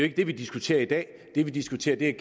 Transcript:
ikke det vi diskuterer i dag det vi diskuterer er